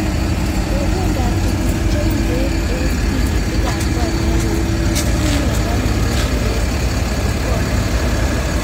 Kopendot tuguk cheu peek eng' tigitik ab konyek ko ipu miondo nekikure glaucoma